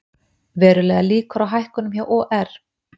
Verulegar líkur á hækkunum hjá OR